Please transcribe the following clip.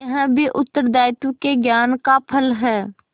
यह भी उत्तरदायित्व के ज्ञान का फल है